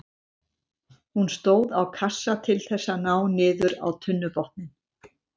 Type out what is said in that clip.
Hún stóð á kassa til þess að ná niður á tunnubotninn.